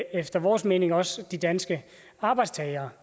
efter vores mening også de danske arbejdstagere